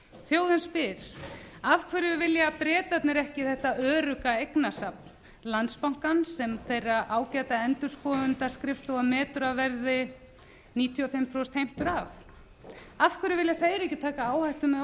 þjóðin spyr af hverju vilja bretarnir ekki þetta örugga eignasafn landsbankans sem þeirra ágæta endurskoðunarskrifstofa metur að verði níutíu og fimm prósent heimtur af af hverju vilja þeir ekki taka áhættu með